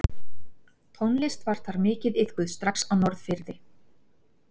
Tónlist var þar mikið iðkuð strax á Norðfirði.